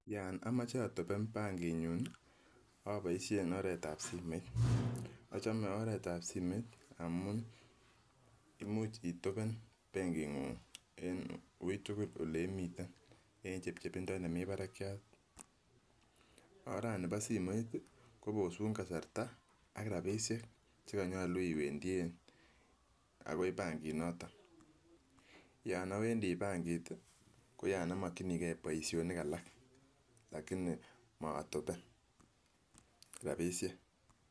Yon omoche otopen bankinyun oboisien oretab simoit ,ochome oretab simoit amun imuch itopen benkingung en uitugul oleimiten en chepchepindo nemi barakiat ,orani boo simoit kobosu kasarta ak rabisiek chekonyolu iwendien akoi bankinoton yon owendi bankit koyon omokwinigee boisionik alak lakini moe otopen rabisiek.